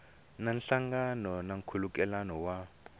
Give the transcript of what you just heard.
na nhlangano na nkhulukelano wa